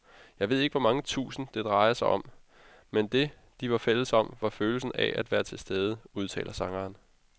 Jeg ved ikke hvor mange tusind, det drejede sig om, men det, de var fælles om, var følelsen af at være tilstede, udtaler sangeren.